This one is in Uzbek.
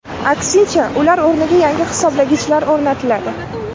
Aksincha, ular o‘rniga yangi hisoblagichlar o‘rnatiladi.